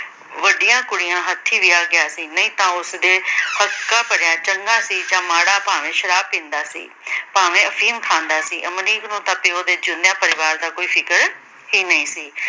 ਵੱਡੀਆਂ ਕੁੜੀਆਂ ਹੱਥੀਂ ਵਿਆਹ ਗਿਆ ਸੀ, ਨਹੀਂ ਤਾਂ ਉਸਦੇ ਹੱਕਾਂ ਭਰਿਆ ਚੰਗਾ ਸੀ ਜਾਂ ਮਾੜਾ ਭਾਵੇਂ ਸ਼ਰਾਬ ਪੀਂਦਾ ਸੀ, ਭਾਵੇਂ ਅਫੀਮ ਖਾਂਦਾ ਸੀ। ਅਮਰੀਕ ਨੂੰ ਤਾਂ ਪਿਉ ਦਿਆਂ ਚੁੱਲਿਆਂ ਪਰਿਵਾਰ ਦਾ ਕੋਈ ਫਿਕਰ ਹੀ ਨਹੀਂ ਸੀ।